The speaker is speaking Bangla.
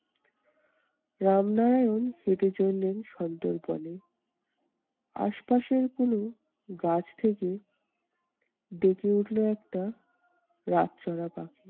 রামনারায়ণ হেঁটে চললেন সোন্দর্পনে। আশপাশের কোনো গাছ থেকে ডেকে উঠলো একটা রাতচরা পাখি।